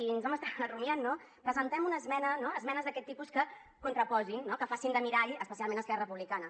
i ens ho vam estar rumiant no presentem una esmena no esmenes d’aquest tipus que contraposen que facin de mirall especialment a esquerra republicana